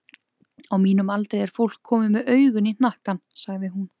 Á mínum aldri er fólk komið með augun í hnakkann, sagði hún.